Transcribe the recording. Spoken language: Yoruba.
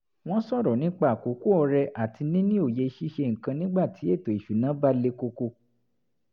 wọ́n sọ̀rọ̀ nípa àkókò ọrẹ àti níni òye ṣíṣe nǹkan nígbàtí ètò ìṣúnná bá le koko